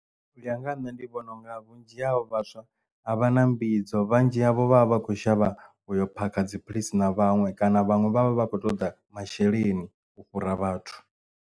U ya nga ha nṋe ndi vhona unga vhunzhi havho vhaswa a vha na mbidzo vhunzhi havho vha vha vha kho shavha uyo phakha dziphilisi na vhaṅwe kana vhaṅwe vha vha vha khou toḓa masheleni u fhura vhathu.